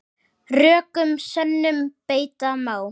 Rökum sönnum beita má.